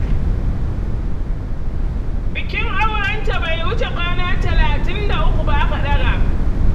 Bikin aurenta bai wuce kwana talatin da uku ba, aka ɗaga.